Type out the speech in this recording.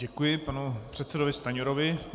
Děkuji panu předsedovi Stanjurovi.